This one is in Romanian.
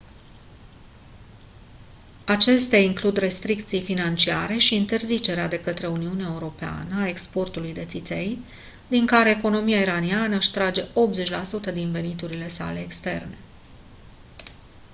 acestea includ restricții financiare și interzicerea de către uniunea europeană a exportului de țiței din care economia iraniană își trage 80% din veniturile sale externe